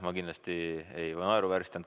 Ma kindlasti ei naeruvääristanud.